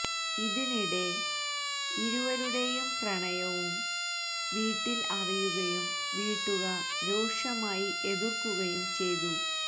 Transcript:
ഇതിനിടെ ഇരുവരുടേയും പ്രണയും വീട്ടിൽ അറിയുകയും വീട്ടുകാർ രൂക്ഷമായി എതിർക്കുകയും ചെയ്തു